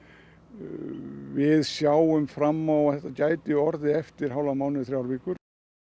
við sjáum fram á að þetta gæti orðið eftir hálfan mánuð þrjár vikur